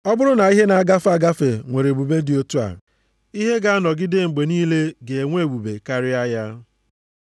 Ọ bụrụ na ihe na-agafe agafe nwere ebube dị otu a, ihe ga-anọgide mgbe niile ga-enwe ebube karịa ya.